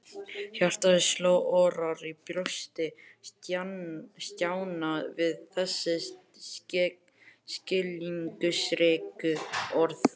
Hjartað sló örar í brjósti Stjána við þessi skilningsríku orð.